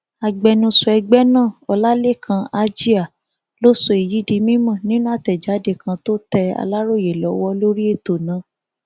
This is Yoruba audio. agbẹnusọ ẹgbẹ náà ọlálẹkan àjíá ló sọ èyí di mímọ nínú àtẹjáde kan tó tẹ aláròye lọwọ lórí ètò náà